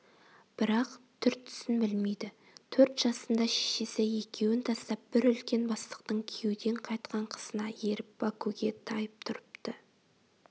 бірақ түр-түсін білмейді төрт жасында шешесі екеуін тастап бір үлкен бастықтың күйеуден қайтқан қызына еріп бакуге тайып тұрыпты